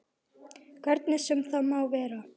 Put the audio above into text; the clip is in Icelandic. Hvernig sem það má vera.